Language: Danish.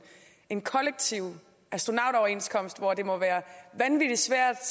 en kollektiv astronautoverenskomst det må være vanvittig svært